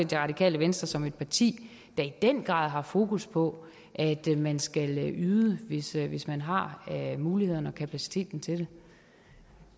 det radikale venstre som et parti der i den grad har fokus på at man skal yde hvis yde hvis man har mulighederne og kapaciteten til det